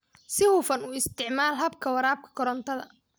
Si hufan u isticmaal habka waraabka korontada